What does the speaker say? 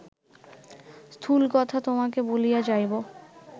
স্থূল কথা তোমাকে বলিয়া যাইব